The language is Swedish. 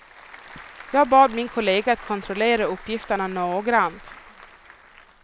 Jag bad min kollega att kontrollera uppgifterna noggrant.